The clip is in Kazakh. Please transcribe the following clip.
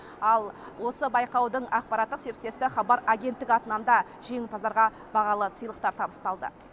ал осы байқаудың ақпараттық серіктесті хабар агенттік атынан да жеңімпаздарға бағалы сыйлықтар табысталды